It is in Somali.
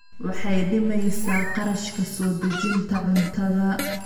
Waxay dhimaysaa kharashka soo dejinta cuntada.